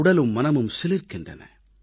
உடலும் மனமும் சிலிர்க்கின்றன